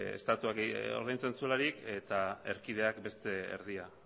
estatuak ordaintzen zuelarik eta erkideak beste erdia